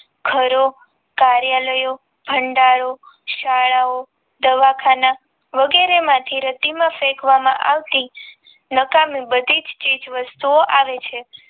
ઘરો કાર્યાલાયો ભંડારો શાળાવો દવાખાના વગેરે માંથી રેતીમાં ફેંકવા માં આવતી નકામી બધી જ ચીજવસ્તુ ઓ આવે છે